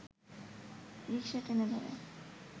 রিকসা টেনে ধরে